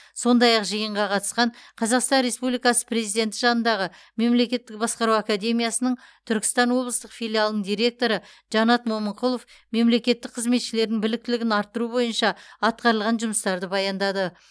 сондай ақ жиынға қатысқан қазақстан республикасы президенті жанындағы мемлекеттік басқару академиясының түркістан облыстық филиалының директоры жанат момынқұлов мемлекеттік қызметшілердің біліктілігін арттыру бойынша атқарылған жұмыстарды баяндады